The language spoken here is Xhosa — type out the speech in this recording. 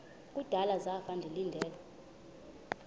kudala zafa ndilinde